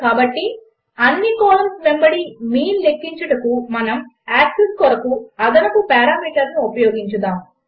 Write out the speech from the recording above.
కాబట్టి అన్ని కాలంస్ వెంబడి మీన్ లెక్కించుటకు మనము యాక్సిస్ కొరకు అదనపు పారామీటర్ను ఉపయోగించుదాము